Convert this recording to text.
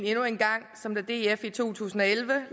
endnu en gang som da df i to tusind og elleve